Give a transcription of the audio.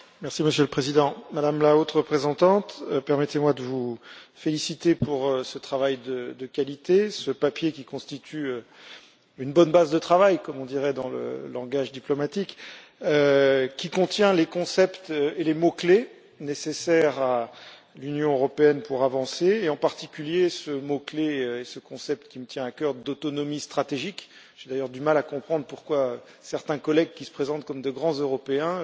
Monsieur le Président, Madame la Haute représentante, permettez moi de vous féliciter pour ce travail de qualité, ce document qui constitue une bonne base de travail, comme on dirait dans le langage diplomatique, et qui contient les concepts et les mots clés nécessaires à l'Union européenne pour avancer, en particulier ce mot clé et concept qui me tient à cœur d'autonomie stratégique j'ai d'ailleurs du mal à comprendre pourquoi certains collègues qui se présentent comme de grands Européens